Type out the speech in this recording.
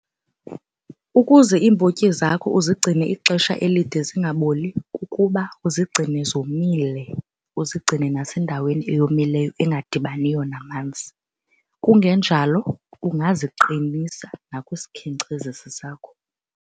Ukuze iimbotyi zakho uzigcine ixesha elide zingaboli kukuba uzigcine zomile, uzigcine nasendaweni eyomileyo engadibaniyo namanzi. Kungenjalo ungaziqinisa nakwisikhenkcezisi sakho.